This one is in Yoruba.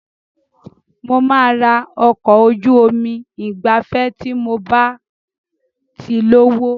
Mo máa ra ọkọ̀ ojú omi ìgbafẹ́ tí mob á ti lówó.